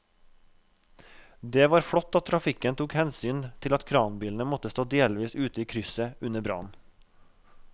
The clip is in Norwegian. Det var flott at trafikken tok hensyn til at kranbilen måtte stå delvis ute i krysset under brannen.